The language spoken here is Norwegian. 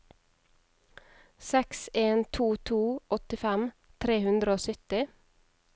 seks en to to åttifem tre hundre og sytti